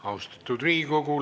Austatud Riigikogu!